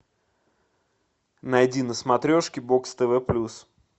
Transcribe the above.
найди на смотрешке бокс тв плюс